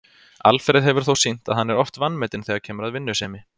Alfreð hefur þó sýnt það að hann er oft vanmetinn þegar kemur að vinnusemi.